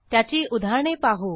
त्याची उदाहरणे पाहू